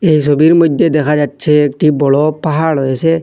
এই সবির মইদ্যে দেখা যাচ্ছে একটি বড় পাহাড় রয়েসে।